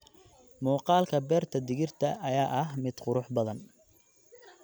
Muuqaalka beerta digirta ayaa ah mid qurux badan.